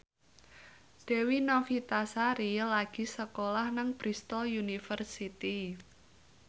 Dewi Novitasari lagi sekolah nang Bristol university